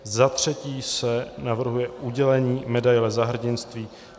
Za třetí se navrhuje udělení medaile Za hrdinství